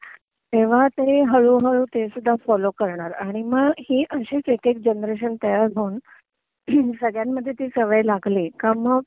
तेव्हा ते हळू हळू तेसुद्धा फॉलो करणार आणि मग ही अशीच एक एक जेनेरेशन तयार होऊन संगळ्यांमद्धे ती सवय लागली का मग